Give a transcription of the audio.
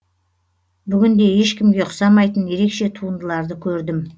бүгін де ешкімге ұқсамайтын ерекше туындыларды көрдім